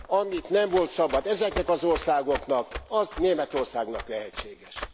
Amit nem volt szabad ezeknek az országoknak, azt Németországnak lehetséges.